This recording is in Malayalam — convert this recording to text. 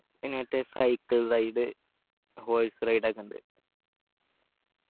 പിന്നെ മറ്റേ cycle ride horse ride ഒക്കെ ഇണ്ട്